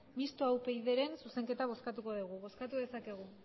mistoa upydren zuzenketa bozkatuko dugu bozkatu dezakegu